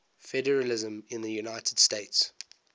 federalism in the united states